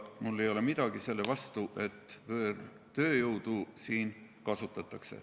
Mul ei ole midagi selle vastu, et siin võõrtööjõudu kasutatakse.